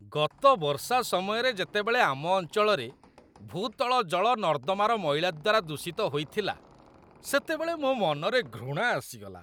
ଗତ ବର୍ଷା ସମୟରେ ଯେତେବେଳେ ଆମ ଅଞ୍ଚଳରେ ଭୂତଳ ଜଳ ନର୍ଦ୍ଦମାର ମଇଳା ଦ୍ୱାରା ଦୂଷିତ ହୋଇଥିଲା, ସେତେବେଳେ ମୋ ମନରେ ଘୃଣା ଆସିଗଲା।